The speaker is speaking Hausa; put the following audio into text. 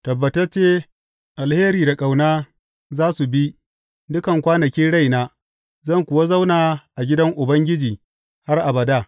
Tabbatacce alheri da ƙauna za su bi dukan kwanakin raina, zan kuwa zauna a gidan Ubangiji har abada.